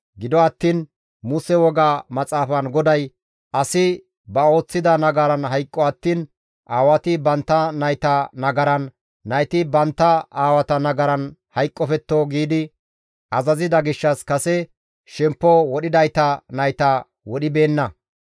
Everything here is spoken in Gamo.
Gido attiin Muse woga maxaafan GODAY, «Asi ba ooththida nagaran hayqqo attiin aawati bantta nayta nagaran, nayti bantta aawata nagaran hayqqofetto» giidi azazida gishshas kase shemppo wodhidayta nayta wodhibeenna.